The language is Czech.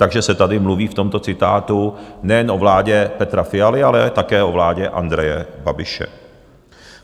Takže se tady mluví, v tomto citátu, nejen o vládě Petra Fialy, ale také o vládě Andreje Babiše.